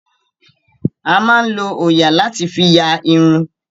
A máa ń lo òòyà láti fí ya irun.